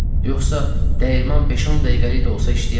Yoxsa dəyirman beş-on dəqiqəlik də olsa işləyərdi.